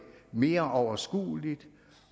mere overskueligt